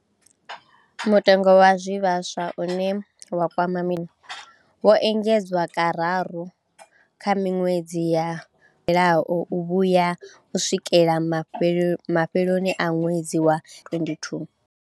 Mutengo wa zwivhaswa, une wa kwama mitengo, wo engedzwa kararu kha miṅwedzi ya yo fhelaho u vhuya u swikela mafheloni a ṅwedzi wa 2022.